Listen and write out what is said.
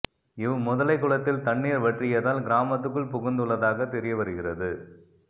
இவ் முதலை குளத்தில் தண்ணீர் வற்றியதால் கிராமத்துக்குள் புகுந்துள்ளதாக தெரியவருகிறது